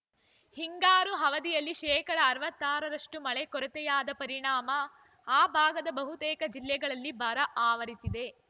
ಹಿಂಗಾರು ಅವಧಿಯಲ್ಲಿ ಶೇಕಡಾ ಅರವತ್ತಾರ ರಷ್ಟುಮಳೆ ಕೊರತೆಯಾದ ಪರಿಣಾಮ ಆ ಭಾಗದ ಬಹುತೇಕ ಜಿಲ್ಲೆಗಳಲ್ಲಿ ಬರ ಆವರಿಸಿದೆ